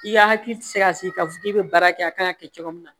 I ka hakili ti se ka sigi k'a fɔ k'i be baara kɛ a kan ŋa kɛ cogo min na